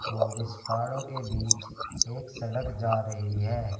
और इस पहाड़ों के बीच एक सड़क जा रही है।